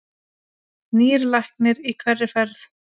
Nýr læknir í hverri ferð.